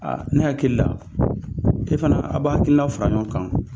ne hakili la, e fana, a b'a hakili na fara ɲɔgɔn kan.